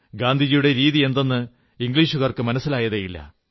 ഗാന്ധിയുടെ രീതിയെന്തെന്ന് ഇംഗ്ലീഷുകാർക്ക് മനസ്സിലായതേയില്ല